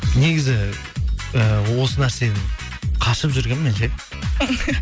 негізі і осы нәрседен қашып жүргенмін мен ше